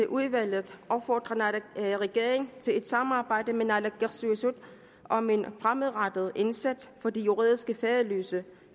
udvalget opfordre regeringen til et samarbejde med naalakkersuisut om en fremadrettet indsats for de juridisk faderløse